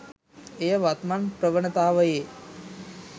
එය වත්මන් ප්‍රවනතාවයෙ